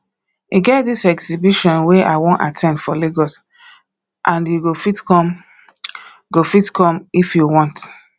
e get dis exhibition wey i wan at ten d for lagos and you go fit come go fit come if you want